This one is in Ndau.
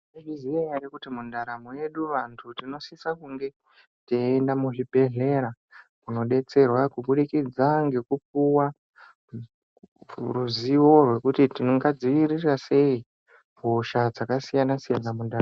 Maizviziya ere kuti mundaramo yedu vantu tinosisa kunge teienda muzvimbedhlera kunobetserwa. Kubudikidza ngekupuva ruzivo rwokuti tingadzivirira sei hosha dzakasiyana-siyana mundaramo.